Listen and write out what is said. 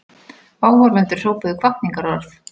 Áhorfendur hrópuðu hvatningarorð.